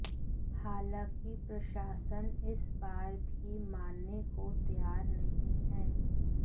हालांकि प्रशासन इस बार भी मानने को तैयार नहीं है